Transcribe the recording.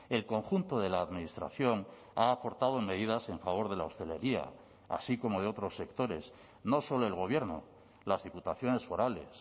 el conjunto de la administración ha aportado medidas en favor de la hostelería así como de otros sectores no solo el gobierno las diputaciones forales